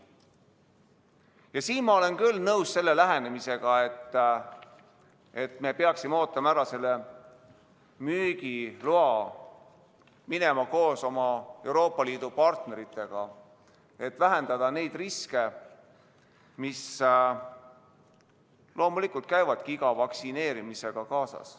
Ja siin olen ma küll nõus selle lähenemisega, et me peaksime ootama ära müügiloa, minema koos oma Euroopa Liidu partneritega, et vähendada neid riske, mis loomulikult käivadki iga vaktsineerimisega kaasas.